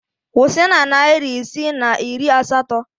Kwụsị na narị isii na iri asatọ!